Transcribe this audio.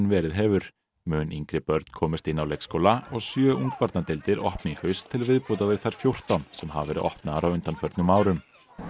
verið hefur mun yngri börn komist inn á leikskóla og sjö opni í haust til viðbótar við þær fjórtán sem hafa verið opnaðar á undanförnum árum